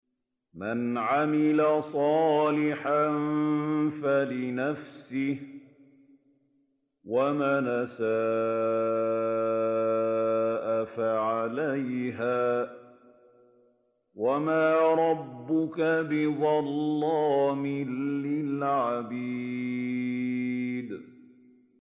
مَّنْ عَمِلَ صَالِحًا فَلِنَفْسِهِ ۖ وَمَنْ أَسَاءَ فَعَلَيْهَا ۗ وَمَا رَبُّكَ بِظَلَّامٍ لِّلْعَبِيدِ